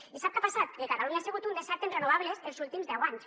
i sap què ha passat que catalunya ha sigut un desert en renovables els últims deu anys